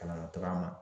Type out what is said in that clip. Kalan na taga ma